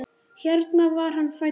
Hér var hann fæddur.